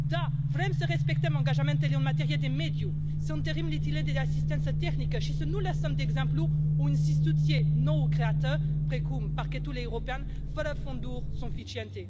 Da, vrem să respectăm angajamentele în materie de mediu, să întărim de asistență tehnică și să nu lăsăm, de exemplu, o instituție nou creată precum Parchetul european fără fonduri suficiente.